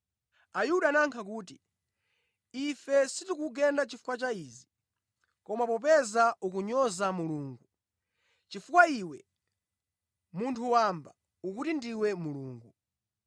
Ayuda anayankha kuti, “Ife sitikukugenda chifukwa cha izi, koma popeza ukunyoza Mulungu, chifukwa iwe, munthu wamba, ukuti ndiwe Mulungu.”